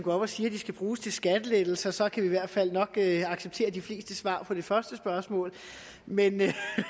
og siger at de skal bruges til skattelettelser så kan vi i hvert fald nok acceptere de fleste svar på det første spørgsmål men